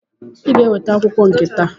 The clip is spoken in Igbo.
Ị ga-eweta akwụkwọ akụkọ nke taa!